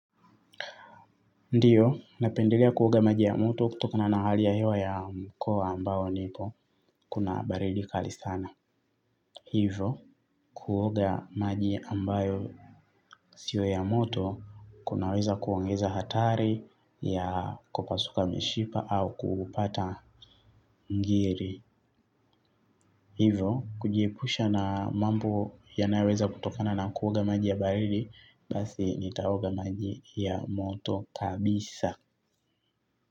Ndiyo napendelea kuoga maji ya moto kutokana na hali ya hewa ya mkoa ambao nipo kuna baridi kali sana. Hivo kuoga maji ambayo sio ya moto kunaweza kuongeza hatari ya kupasuka mishipa au kupata ngiri. Hivo kujiepusha na mambo yanayoweza kutokana na kuoga maji ya baridi basi nitaoga maji ya moto kabisa.